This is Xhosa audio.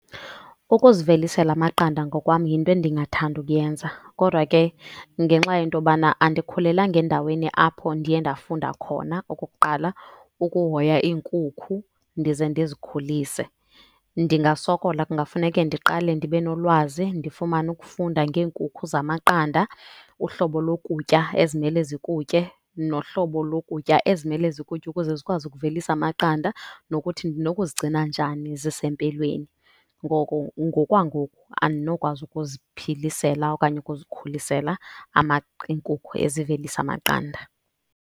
Ukuzivelisela amaqanda ngokwam yinto endingathanda ukuyenza. Kodwa ke ngenxa yento yobana andikhulelanga endaweni apho ndiye ndafunda khona okokuqala ukuhoya inkukhu ndize ndizikhulise, ndingasokola. Kungafuneke ndiqale ndibe nolwazi ndifumane ukufunda ngeenkukhu zamaqanda, uhlobo lokutya ezimele zikutye nohlobo lokutya ezimele zikutye ukuze zikwazi ukuvelisa amaqanda, nokuthi ndinokuzigcina njani zisempilweni. Ngoko ngokwangoku andinokwazi ukuziphilisela okanye ukuzikhulisela inkukhu ezivelisa amaqanda.